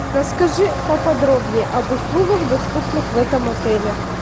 расскажи поподробнее об услугах доступных в этом отеле